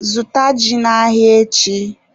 Zụta ji n'ahịa echi!